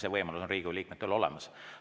See võimalus on Riigikogu liikmetel olemas.